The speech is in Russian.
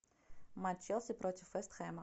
матч челси против вест хэма